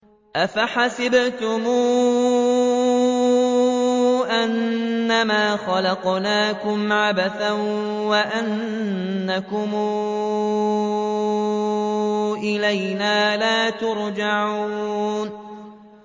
أَفَحَسِبْتُمْ أَنَّمَا خَلَقْنَاكُمْ عَبَثًا وَأَنَّكُمْ إِلَيْنَا لَا تُرْجَعُونَ